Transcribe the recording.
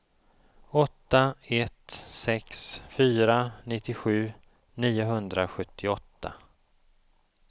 åtta ett sex fyra nittiosju niohundrasjuttioåtta